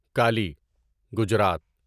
Kali Gujarat